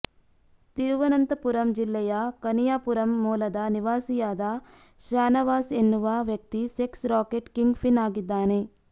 ತಿರುವನಂತಪುರಂ ಜಿಲ್ಲೆಯ ಕನಿಯಾಪುರಂ ಮೂಲದ ನಿವಾಸಿಯಾದ ಶಾನವಾಸ್ ಎನ್ನುವ ವ್ಯಕ್ತಿ ಸೆಕ್ಸ್ ರಾಕೆಟ್ ಕಿಂಗ್ಪಿನ್ ಆಗಿದ್ದಾನೆ